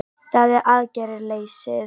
Það er aðgerðaleysið